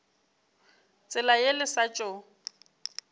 tsela ye le sa tšo